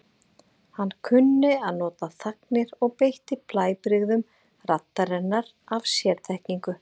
Hann kunni að nota þagnir og beitti blæbrigðum raddarinnar af sérþekkingu.